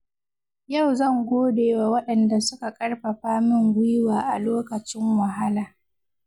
Yau zan gode wa waɗanda suka karfafa min gwiwa a lokacin wahala.